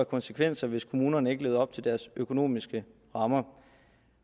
konsekvenser hvis kommunerne ikke levede op til deres økonomiske rammer